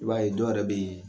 I b'a ye dɔ yɛrɛ bɛ ye.